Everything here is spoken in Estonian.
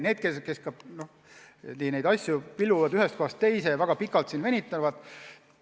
Teatud asju on pillutud ühest kohast teise ja väga pikalt venitatud.